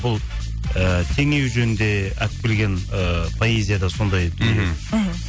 бұл ііі теңеу жөнінде алып келген ыыы поэзияда сондай дүние мхм мхм